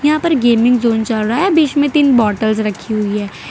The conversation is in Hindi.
यहां पर गेमिंगजोन चल रहा है बीच मे तीन बॉटल्स रखी हुई है।